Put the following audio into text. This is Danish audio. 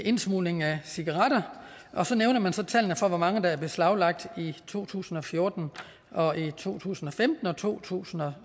indsmugling af cigaretter og så nævner man tallene for hvor mange der er beslaglagt i to tusind og fjorten og to tusind og femten og to tusind og